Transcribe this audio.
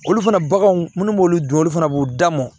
Olu fana baganw minnu b'olu dun olu fana b'u da mɔn